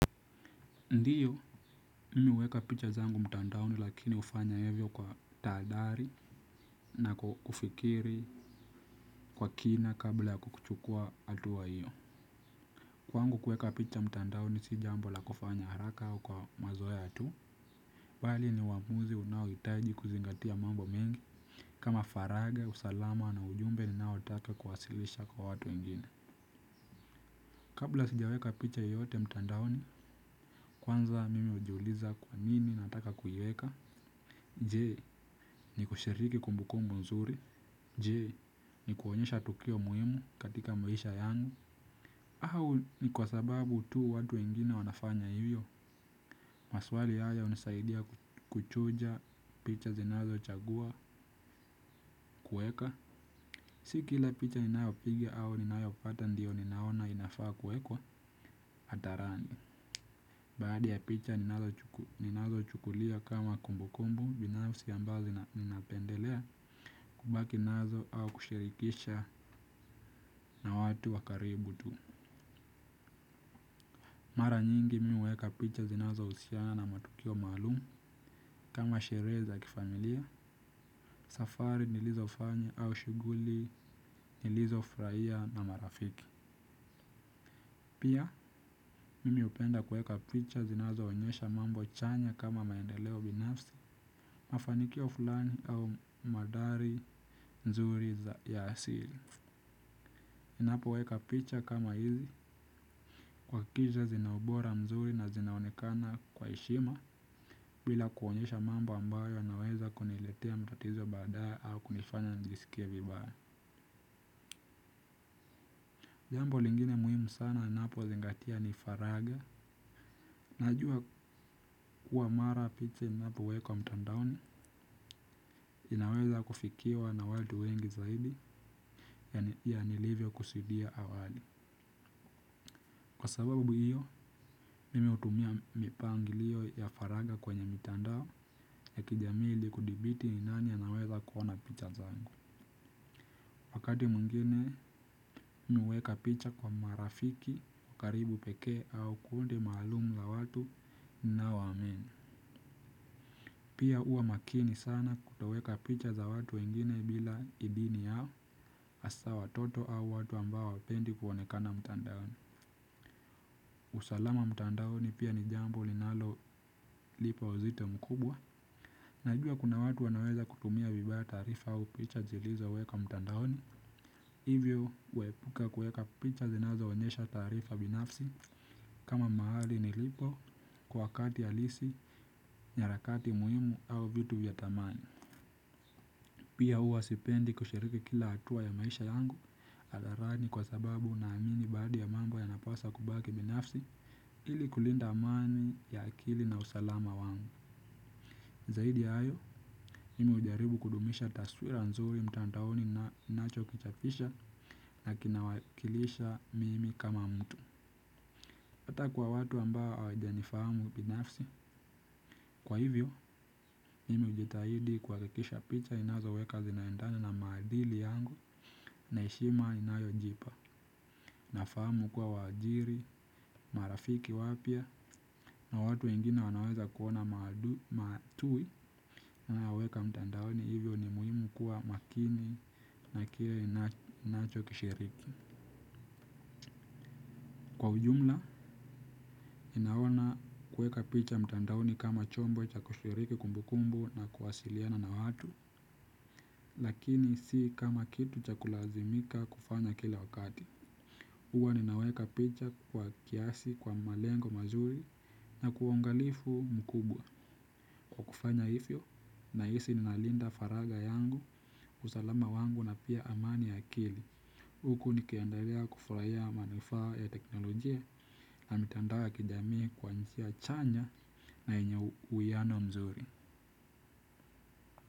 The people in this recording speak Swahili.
Ndio, mimi huweka picha zangu mtandaoni lakini hufanya hivyo kwa tahadhari na kufikiri kwa kina kabla ya kukuchukua hatua hiyo. Kwangu kuweka picha mtandaoni si jambo la kufanya haraka au kwa mazoea tu. Bali ni uamuzi unaohitaji kuzingatia mambo mengi. Kama faraga, usalama na ujumbe ninaotaka kuwasilisha kwa watu wengine. Kabla sijaweka picha yoyote mtandaoni, kwanza mimi hujiuliza kwa nini nataka kuiweka. Je, ni kushiriki kumbukumbu nzuri? Je, ni kuonyesha tukio muhimu katika maisha yangu, au ni kwa sababu tu watu wengine wanafanya hivyo? Maswali haya hunisaidia kuchuja picha zinazochagua kuweka. Si kila picha ninayopiga au ninayopata ndio ninaona inafaa kuekwa hadharani. Baadhi ya picha ninazochukulia kama kumbu kumbu binafsi ambayo ninapendelea kubaki nazo au kushirikisha na watu wa karibu tu. Mara nyingi mi huweka picha zinazohusiana na matukio maalum kama sherehe za kifamilia. Safari nilizofanya au shughuli nilizofurahia na marafiki. Pia, mimi hupenda kuweka picha zinazoonyesha mambo chanya kama maendeleo binafsi. Mafanikio fulani au mandhari nzuri za ya asili. Ninapoweka picha kama hizi, huhakikisha zina ubora mzuri na zinaonekana kwa heshima bila kuonyesha mambo ambayo yanaweza kuniletea matatizo baadaye au kunifanya nijisikie vibaya. Jambo lingine muhimu sana ninapozingatia ni faraga. Najua kuwa mara picha inapowekwa mtandaoni inaweza kufikiwa na watu wengi zaidi ya nilivyokusudia awali. Kwa sababu hiyo, nimeutumia mipangilio ya faraga kwenye mitandao ya kijamii ili kudhibiti ni nani anaweza kuona picha zangu. Wakati mwingine mi huweka picha kwa marafiki, wa karibu pekee au kundi maalum la watu, ninaoamini. Pia huwa makini sana kutoweka picha za watu wengine bila idhini yao, hasa watoto au watu ambao hawapendi kuonekana mtandaoni. Usalama mtandaoni pia ni jambo linalolipa uzito mkubwa. Najua kuna watu wanaweza kutumia vibaya taarifa au picha zilizowekwa mtandaoni. Hivyo huepuka kuweka picha zinazoonyesha taarifa binafsi kama mahali nilipo kwa wakati halisi, nyarakati muhimu au vitu vya thamani. Pia huwa sipendi kushiriki kila hatua ya maisha yangu, hadharani kwa sababu naamini baadhi ya mambo yanapaswa kubaki binafsi, ili kulinda amani ya akili na usalama wangu. Zaidi ya hayo, mimi hujaribu kudumisha taswira nzuri mtandaoni na ninachokichapisha na kinawakilisha mimi kama mtu. Hata kwa watu ambao hawajanifahamu binafsi, kwa hivyo, mimi hujitahidi kuhakikisha picha ninazoweka zinaendana na maadili yangu na heshima ninayojipa. Nafahamu kuwa waajiri, marafiki wapya na watu wengine wanaweza kuona matui ninayoweka mtandaoni hivyo ni muhimu kuwa makini na kile ninachokishiriki. Kwa ujumla, ninaona kuweka picha mtandaoni kama chombo cha kushiriki kumbukumbu na kuwasiliana na watu, lakini si kama kitu cha kulazimika kufanya kila wakati. Huwa ninaweka picha kwa kiasi kwa malengo mazuri na kwa uangalifu mkubwa. Kufanya hivyo nahisi ninalinda faraga yangu, usalama wangu na pia amani ya akili. Huku nikiendelea kufurahia manufaa ya teknolojia. Na mitandao ya kijami kwa njia chanya na yenye uwiano mzuri.